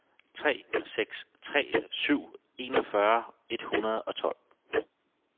tre seks tre syv enogfyrre et hundrede og tolv